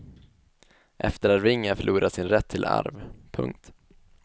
Efterarvingar förlorar sin rätt till arv. punkt